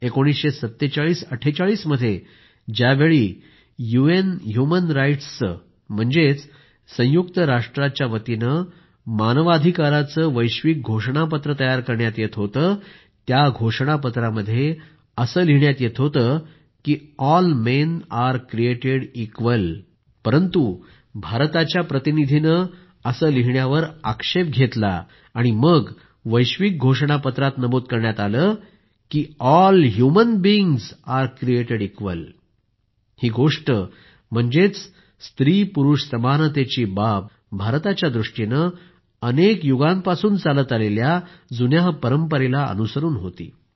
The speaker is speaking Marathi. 194748 मध्ये ज्यावेळी यूएन ह्मुमन राइटसचे म्हणजेच संयुक्त राष्ट्राच्यावतीने मानवाधिकाराचा वैश्विक घोषणापत्र तयार करण्यात येत होते त्या घोषणापत्रामध्ये लिहिण्यात येत होते की all men are created equal परंतु भारताच्या एका प्रतिनिधीने असे लिहिण्यावर आक्षेप घेतला आणि मग वैश्विक घोषणापत्रात नमूद करण्यात आले की all human beings are created equal ही गोष्ट म्हणजेच स्त्रीपुरूष समानतेची बाब भारताच्या दृष्टीने अनेक युगांपासून चालत आलेल्या जुन्या परंपरेला अनुसरून होती